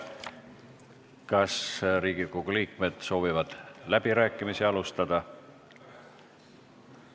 Kas Riigikogu liikmed soovivad alustada läbirääkimisi?